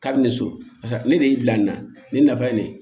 Kabini so ne de y'i bila nin na nin nafa ye ne ye